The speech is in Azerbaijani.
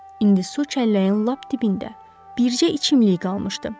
İndi su çəlləyin lap dibində bircə içimlik qalmışdı.